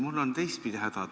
Mul on teistpidi häda.